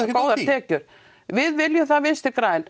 góðar tekjur við viljum það Vinstri græn